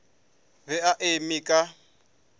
o be a eme ka